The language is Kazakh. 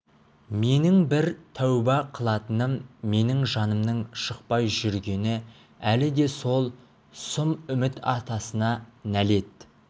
менің бір тәуба қылатыным менің жанымның шықпай жүргені әлі де сол сұм үміт атасына нәлет